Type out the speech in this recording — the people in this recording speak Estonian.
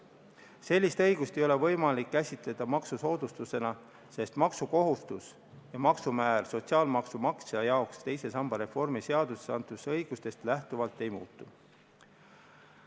Sellist õigust ei ole võimalik käsitada maksusoodustusena, sest maksukohustus ja maksumäär sotsiaalmaksumaksja jaoks teise samba reformi seadusega antud õigustest lähtuvalt ei muutu.